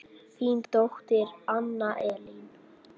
Þín dóttir Anna Elín.